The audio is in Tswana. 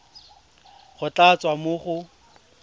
go tla tswa mo go